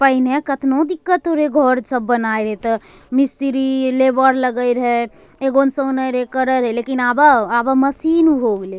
पहने कतना दिक्कत हो रहे घर सब बनावे रहे ते मिस्त्री लेबर लगे रहे लेकिन आभा आभा मशीन हो गेलेए।